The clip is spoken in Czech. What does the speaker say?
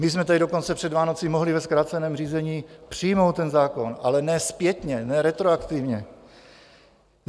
My jsme tady dokonce před Vánoci mohli ve zkráceném řízení přijmout ten zákon, ale ne zpětně, ne retroaktivně.